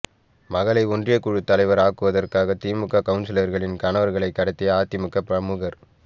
மகளை ஒன்றியக்குழு தலைவர் ஆக்குவதற்காக திமுக கவுன்சிலர்களின் கணவர்களை கடத்திய அதிமுக பிரமுகர்